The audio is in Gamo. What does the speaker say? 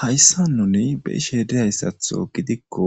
hayssan nuni be' ishedi hayssatho gidikko